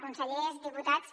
consellers diputats